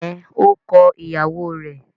Ẹn, ó kọ ìyàwó rẹ̀.